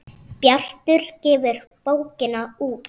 Bjartur gefur bókina út.